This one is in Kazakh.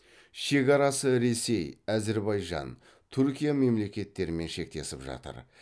шекарасы ресей әзірбайжан түркия мемлекеттерімен шектесіп жатыр